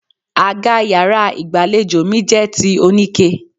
Àga yàrá ìgbàlejò mi jẹ́ ti oníke.